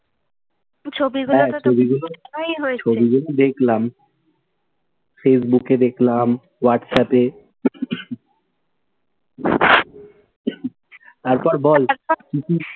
ছবিগুলো তো হ্যাঁ, ছবিগুলো দেখলাম facebook এ দেখলাম, whatsapp এ। তারপর বল কি কি,